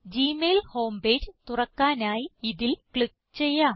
Gmail home page തുറക്കാനായി ഇതിൽ click ചെയ്യാം